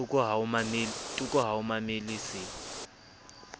toko ha o mamele se